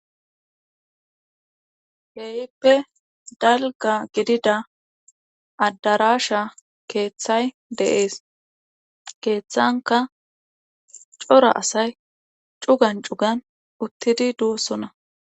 Keehippe dalgga gidida adarasha keeththay de'ees. keethankka cora asay cuggan cugan uttidi dosona.